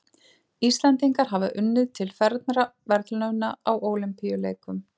Íslendingar hafa unnið til fernra verðlauna á Ólympíuleikum.